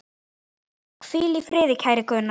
Hvíl í friði, kæri Gunnar.